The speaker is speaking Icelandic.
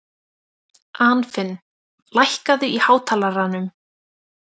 Anfinn, lækkaðu í hátalaranum.